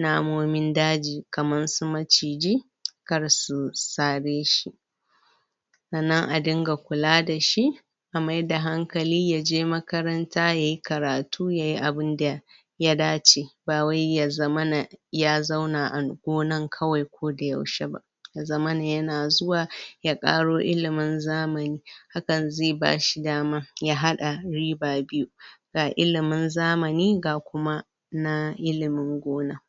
namomin daji kaman su maciji kar su tsare shi tsannan a dinga kula da shi a mai da hankali ya je makaranta, yayi karatu, ya yi abunda ya dace ba wai ya zamana ya zauna a gonan kawai ko da yaushe ba ya zamana ya na zuwa ya ƙaro ilimin zamani hakan zai ba shi dama ya hada riba biyu ga ilimin zamani, ga kuma na ilimin gona.